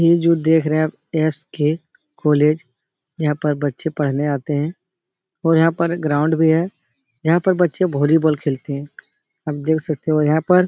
ये जो देख रहे हैं आप एस के कॉलेज यहाँ पर बच्चे पढ़ने आते हैं। और यहाँ पर ग्राउंड भी है। यहाँ पर बच्चे वॉलीबॉल खेलते हैं। आप देख सकते हो यहाँ पर --